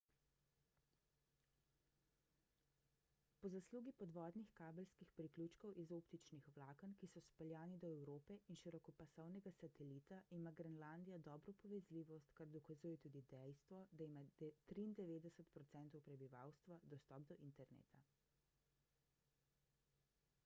po zaslugi podvodnih kabelskih priključkov iz optičnih vlaken ki so speljani do evrope in širokopasovnega satelita ima grenlandija dobro povezljivost kar dokazuje tudi dejstvo da ima 93 % prebivalstva dostop do interneta